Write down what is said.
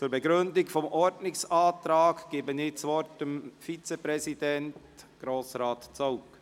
Zur Begründung des Ordnungsantrags gebe ich das Wort dem Vizepräsidenten, Grossrat Zaugg.